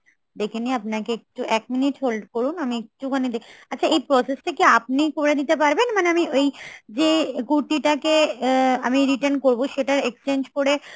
দেখে নিয়ে আপনাকে একটু, এক minute hold করুন আমি একটুখানি দেখে আচ্ছা এই process টা কি আপনি করে দিতে পারবেন মানে ওই যে কুর্তি টাকে আ~ আমি return করবো সেটা exchange করে